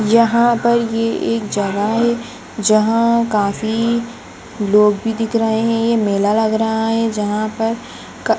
यहाँ पर ये एक जगह है जहाँ काफी लोग भी दिख रहे हैं ये मेला लग रहा है जहाँ पर क --